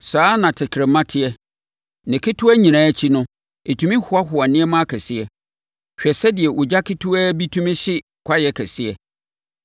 Saa ara na tɛkrɛma teɛ: ne ketewa yi nyinaa akyi, ɛtumi hoahoa nneɛma akɛseɛ. Hwɛ sɛdeɛ ogya ketewaa bi tumi hye kwaeɛ kɛseɛ.